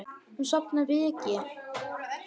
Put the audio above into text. Og safna ryki.